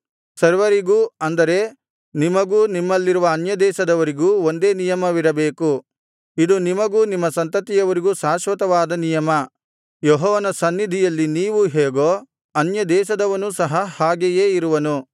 ಸರ್ವರಿಗೂ ಅಂದರೆ ನಿಮಗೂ ನಿಮ್ಮಲ್ಲಿರುವ ಅನ್ಯದೇಶದವರಿಗೂ ಒಂದೇ ನಿಯಮವಿರಬೇಕು ಇದು ನಿಮಗೂ ನಿಮ್ಮ ಸಂತತಿಯವರಿಗೂ ಶಾಶ್ವತವಾದ ನಿಯಮ ಯೆಹೋವನ ಸನ್ನಿಧಿಯಲ್ಲಿ ನೀವು ಹೇಗೋ ಅನ್ಯದೇಶದವನೂ ಸಹ ಹಾಗೆಯೇ ಇರುವನು